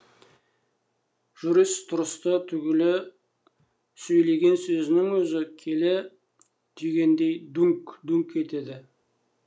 жүріс тұрысы түгілі сөйлеген сөзінің өзі келі түйгендей дүңқ дүңқ етеді